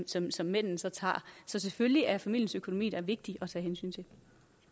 som som mændene så tager så selvfølgelig er familiens økonomi da vigtig